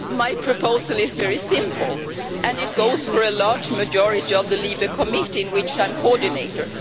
My proposal is very simple and it goes for a large majority of the LIBE Committee, of which I am coordinator.